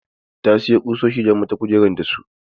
Ta sayo ƙusoshi da zan mata kujer da su.